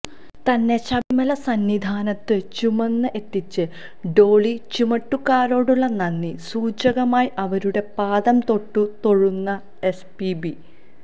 തന്നെ ശബരിമല സന്നിധാനത്ത് ചുമന്ന് എത്തിച്ച ഡോളി ചുമട്ടുകാരോടുള്ള നന്ദി സൂചകമായി അവരുടെ പാദം തൊട്ടു തൊഴുന്ന എസ്പിബി